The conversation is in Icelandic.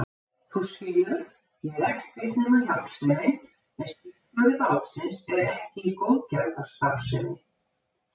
Þú skilur, ég er ekkert nema hjálpsemin en skipstjóri bátsins er ekki í góðgerðarstarfsemi.